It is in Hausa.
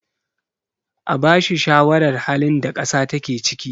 a bashi shawarar halin da kasa take ciki!